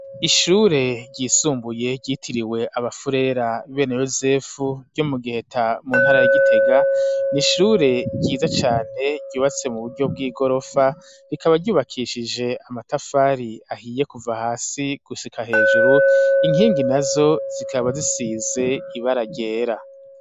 Ishure ryisumbuye ryitiriwe abafurera bene yozefu ryo mu giheta mu ntara ya gitega n'ishure ryiza cane ryubatse mu buryo bw'igorofa rikaba ryubakishije amatafari ahiye kuva hasi gusika hejuru inkingi nazo zikaba zisize ibara ryera.